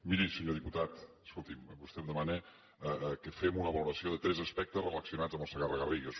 miri senyor diputat escolti’m vostè em demana que fem una valoració de tres aspectes relacionats amb el segarra garrigues